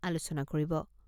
আলোচনা কৰিব।